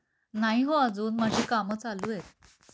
नाही हो अजून माझे काम चालू आहेत.